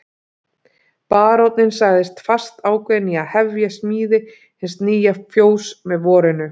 Baróninn sagðist fastákveðinn í að hefja smíði hins nýja fjóss með vorinu.